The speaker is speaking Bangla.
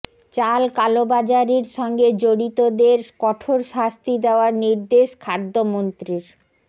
চাল কালোবাজারির সঙ্গে জড়িতদের কঠোর শাস্তি দেওয়ার নির্দেশ খাদ্যমন্ত্রীর